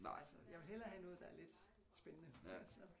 Altså jeg vil hellere have noget der er lidt spændende så